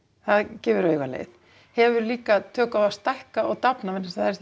það gefur auga leið hefur líka tök á að stækka og dafna